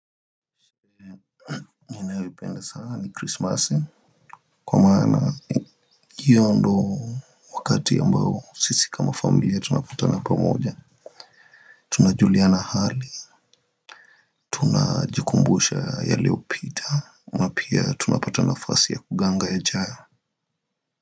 Kwa maana hiyo ndio wakati ambao sisi kama familia tunapatana pamoja. Tunajuliana hali, tunajikumbusha yaliyopita. Na pia tunapata nafasi ya kuganga yajayo.